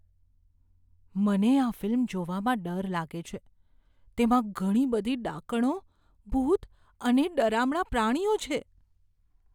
મને આ ફિલ્મ જોવામાં ડર લાગે છે. તેમાં ઘણી બધી ડાકણો, ભૂત અને ડરામણા પ્રાણીઓ છે.